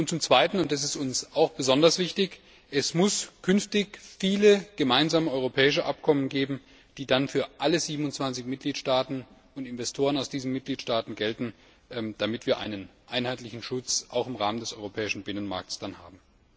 Zum Zweiten, und das ist uns besonders wichtig Es muss künftig viele gemeinsame europäische Abkommen geben, die dann für alle 27 Mitgliedstaaten und Investoren aus diesen Mitgliedstaaten gelten, damit wir auch einen einheitlichen Schutz im Rahmen des europäischen Binnenmarkts haben.